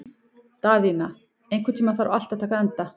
Daðína, einhvern tímann þarf allt að taka enda.